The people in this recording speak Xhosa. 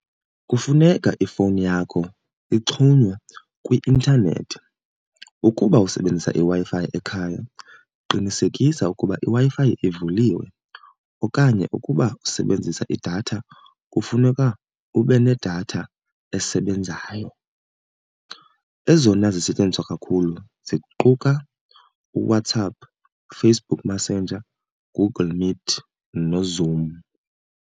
Kufuneka ifowuni yakho ixhunywe kwi-intanethi. Ukuba usebenzisa iWi-Fi ekhaya qinisekisa ukuba iWi-Fi ivuliwe, okanye ukuba usebenzisa idatha kufuneka ube nedatha esebenzayo. Ezona zisetyenziswa kakhulu ziquka uWhatsApp, uFacebook Messenger, uGoogle Meet noZoom.